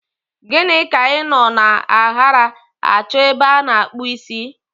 Ogini ka i no na aghari acho ebe ana akpu isi?